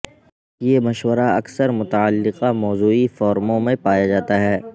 یہ مشورہ اکثر متعلقہ موضوعی فورموں میں پایا جاتا ہے